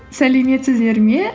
сәлеметсіздер ме